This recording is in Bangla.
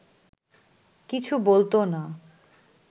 কিছু বলত না